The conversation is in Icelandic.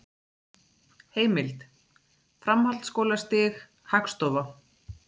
Heimild: Framhaldsskólastig- Hagstofa.